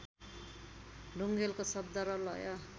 ढुङेलको शब्द र लय